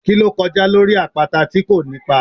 Ki lo kojá lorí apata ti ko ní ipá?